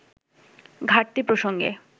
ঘাটতি প্রসঙ্গে